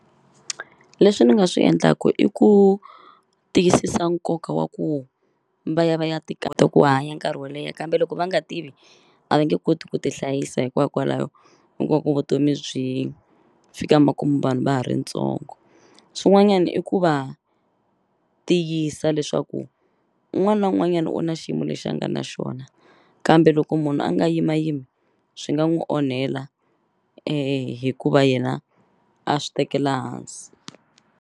Leswi ni nga swi endlaku i ku tiyisisa nkoka wa ku va ya va ya ti ku hanya nkarhi wo leha kambe loko va nga tivi a va nge koti ku ti hlayisa hikwakwalaho vutomi byi fika makumu vanhu va ha ri ntsongo swin'wanyani i ku va tiyisa leswaku wun'wani na un'wanyani u na xiyimo lexi a nga na xona kambe loko munhu a nga yimayimi swi nga n'wu onhela hikuva yena a swi tekela hansi.